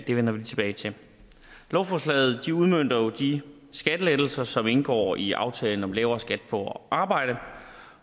det vender vi tilbage til lovforslaget udmønter jo de skattelettelser som indgår i aftalen om lavere skat på arbejde